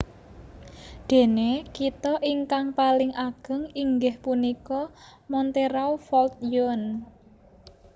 Dene kitha ingkang paling ageng inggih punika Montereau Fault Yonne